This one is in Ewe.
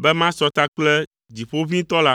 be masɔ ta kple Dziƒoʋĩtɔ la.”